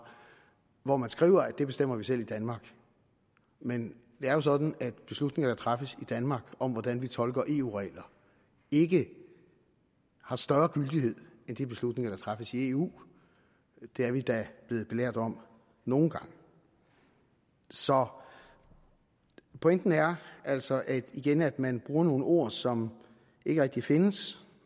hvor man skriver at det bestemmer vi selv i danmark men det er jo sådan at beslutninger der træffes i danmark om hvordan vi tolker eu regler ikke har større gyldighed end de beslutninger der træffes i eu det er vi da blevet belært om nogle gange så pointen er altså altså igen at man bruger nogle ord som ikke rigtig findes